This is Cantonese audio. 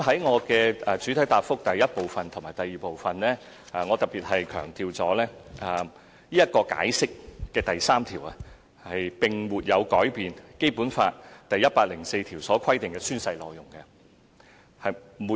我在主體答覆第一和二部分特別強調，《解釋》的第三條並沒有改變《基本法》第一百零四條所規定的宣誓內容。